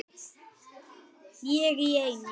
Ég í einu.